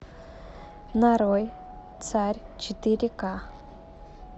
нарой царь четыре ка